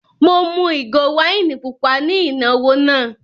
Mo mú ìgò wáìnì pupa ní ìnáwó náà.